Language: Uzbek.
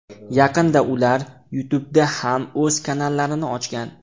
Yaqinda ular YouTube ’da ham o‘z kanallarini ochgan.